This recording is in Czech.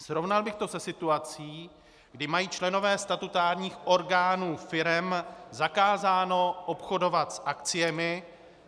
Srovnal bych to se situací, kdy mají členové statutárních orgánů firem zakázáno obchodovat s akciemi.